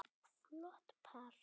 Flott par.